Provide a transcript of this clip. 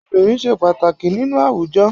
Obìnrin ṣe pàtàkì nínú àwùjọ.